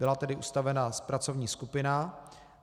Byla tedy ustavena pracovní skupina.